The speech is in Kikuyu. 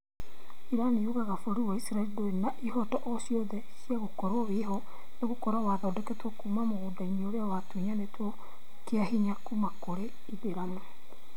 Iran yugaga bũrũri wa isiraĩri ndũrĩ na ihoto o ciothe ciagũkorwo wĩho nĩgũkorwo wathondekirwo kuma mũgũnda ũrĩa watunyanĩtwo kĩa hinya kuma kũri aithĩramu